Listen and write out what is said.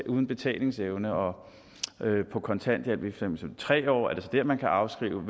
uden betalingsevne og på kontanthjælp i tre år er det så dér man kan afskrive